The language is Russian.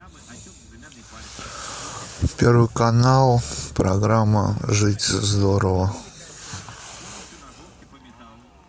первый канал программа жить здорово